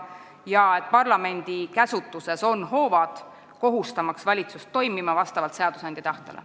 Ja parlamendi käsutuses on ka hoovad kohustamaks valitsust toimima vastavalt seadusandja tahtele.